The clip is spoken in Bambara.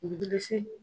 Bilisi